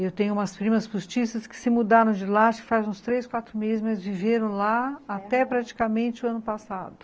Eu tenho umas primas postiças que se mudaram de lá, faz uns três, quatro meses, mas viveram lá até praticamente o ano passado.